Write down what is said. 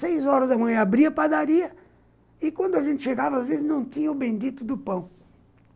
Seis horas da manhã, abria a padaria, e quando a gente chegava, às vezes, não tinha o bendito do pão.